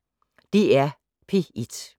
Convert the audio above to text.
DR P1